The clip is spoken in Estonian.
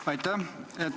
Aitäh!